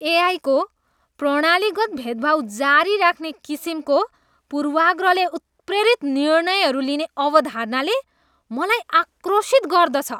एआईको प्रणालीगत भेदभाव जारी राख्ने किसिमको पूर्वाग्रहले उत्प्रेरित निर्णयहरू लिने अवधारणाले मलाई आक्रोशित गर्दछ।